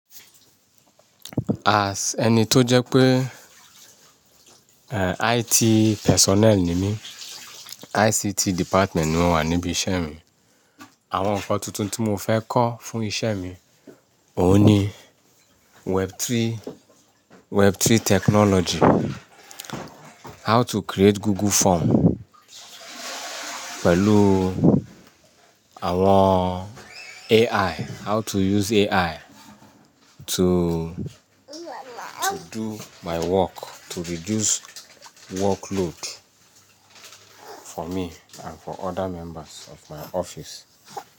As ẹni tó jẹ́ pé, eh, IT personnel ni mí, ICT department ni mo wà níbi iṣẹ́ mi. Àwọn nǹkan tuntun tí mo fẹ́ kọ́ fún iṣẹ́ mi òun ni Web3, Web3 technology, how to create Google form pẹ̀lú àwọn AI, how to use AI to, to do my work, to reduce workload for me and for other members of my office.